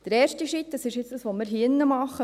Den ersten Schritt machen wir jetzt hier drin.